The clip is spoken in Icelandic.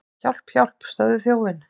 Hjálp, hjálp, stöðvið þjófinn!